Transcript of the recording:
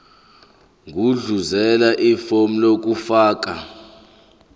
gudluzela ifomu lokufaka